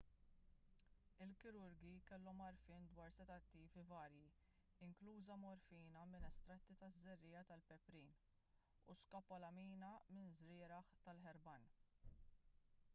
il-kirurgi kellhom għarfien dwar sedattivi varji inkluża morfina minn estratti taż-żerriegħa tal-peprin u skopolamina minn żrieragħ tal-herbane